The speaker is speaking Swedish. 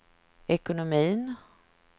ekonomin